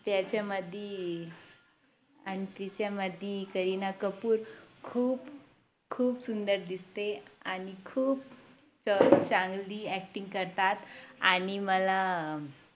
त्याच्यामधी आणि तिच्यामधी करीना कपूर खूप खूप सुंदर दिसते आणि खूप चांगली Acting करतात आणि मला अं